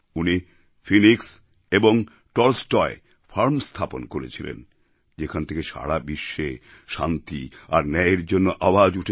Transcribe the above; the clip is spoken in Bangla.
উনিফিনিক্স এবংটলস্টয়ফার্ম স্থাপন করেছিলেনযেখান থেকে সারা বিশ্বে শান্তি আরন্যায়েরজন্য আওয়াজ উঠেছিল